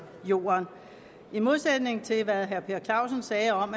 jorden i modsætning til hvad herre per clausen sagde om